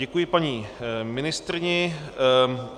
Děkuji paní ministryni.